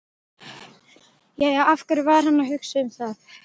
Jæja, af hverju var hann að hugsa um það?